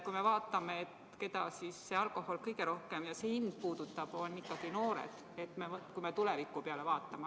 Kui me vaatame, keda alkohol ja selle hind kõige rohkem puudutab, siis need on ikkagi noored, kui me tuleviku peale mõtleme.